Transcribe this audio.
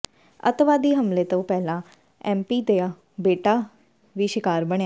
ਅੱਤਵਾਦੀ ਹਮਲੇ ਤੋਂ ਪਹਿਲਾਂ ਐੱਮਪੀ ਦਾ ਬੇਟਾ ਵੀ ਸ਼ਿਕਾਰ ਬਣਿਆ